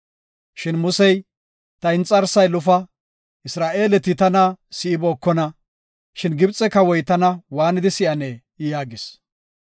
Shin Musey, “Ta inxarsay lufa. Isra7eeleti tana si7ibookona, shin Gibxe kawoy tana waanidi si7anee?” yaagis.